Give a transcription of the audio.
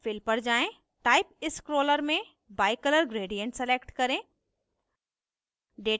fill पर जाएँ type scroller में bicolor gradient select करें